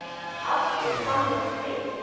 Aftur fann ég frið.